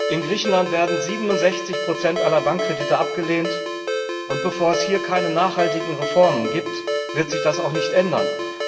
In Griechenland werden 67 aller Bankkredite abgelehnt, und bevor es hier keine nachhaltigen Reformen gibt, wird sich das auch nicht ändern.